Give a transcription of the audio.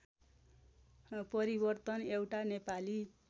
परिवर्तन एउटा नेपाली